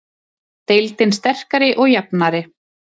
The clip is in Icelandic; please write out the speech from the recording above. Deildin sterkari og jafnari